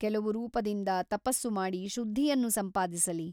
ಕೆಲವು ರೂಪದಿಂದ ತಪಸ್ಸು ಮಾಡಿ ಶುದ್ಧಿಯನ್ನು ಸಂಪಾದಿಸಲಿ.